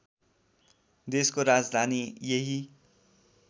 देशको राजधानी यही